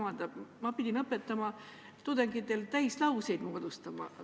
Ma pidin tudengitele õpetama ka, kuidas täislauseid moodustada.